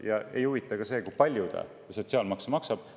Ja ei huvita ka see, kui palju ta sotsiaalmaksu maksab.